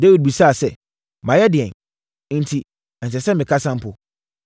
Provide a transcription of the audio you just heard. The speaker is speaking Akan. Dawid bisaa sɛ, “Mayɛ ɛdeɛn? Nti, ɛnsɛ sɛ mekasa mpo?”